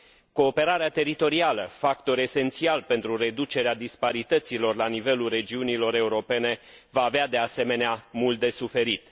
Cooperarea teritorială, factor esențial pentru reducerea disparităților la nivelul regiunilor europene, va avea, de asemenea, mult de suferit.